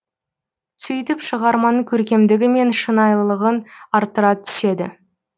сөйтіп шығарманың көркемдігі мен шынайылығын арттыра түседі